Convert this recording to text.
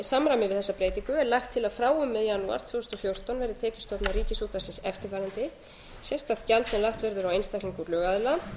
við þessa breytingu er lagt til að frá og með janúar tvö þúsund og fjórtán verði tekjustofnar ríkisútvarpsins eftirfarandi sérstakt gjald sem lagt verður á einstaklinga og lögaðila